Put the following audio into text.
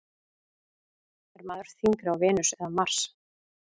Er maður þyngri á Venus eða Mars?